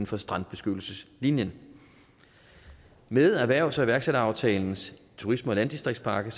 for strandbeskyttelseslinjen med erhvervs og iværksætteraftalens turisme og landdistriktspakke